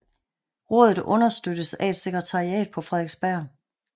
Rådet understøttes af et sekretariat på Frederiksberg